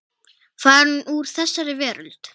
Farin úr þessari veröld.